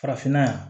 Farafinna yan